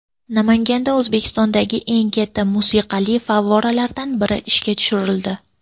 Namanganda O‘zbekistondagi eng katta musiqali favvoralardan biri ishga tushirildi .